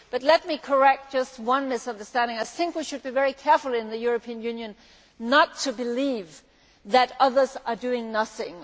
But let me correct just one misunderstanding I think we should be very careful in the European Union and not believe that others are doing nothing.